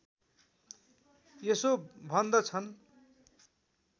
यसो भन्दछन्